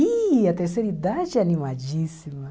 Ih, a terceira idade é animadíssima.